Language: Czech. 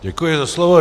Děkuji za slovo.